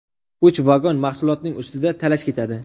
Uch vagon mahsulotning ustida talash ketadi.